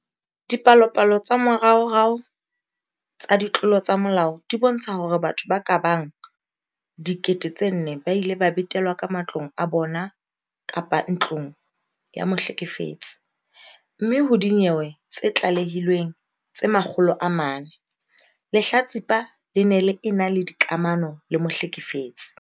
Dipalopalo tsa moraorao tsa ditlolo tsa molao di bontsha hore batho ba ka bang 4 000 ba ile ba betelwa ka matlong a bona kapa ntlong ya mohlekefetsi, mme ho dinyewe tse tlalehilweng tse 400, lehlatsipa le ne le ena le dikamano le mohlekefetsi.